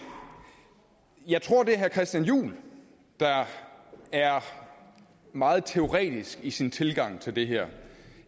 jeg tror det er herre christian juhl der er meget teoretisk i sin tilgang til det her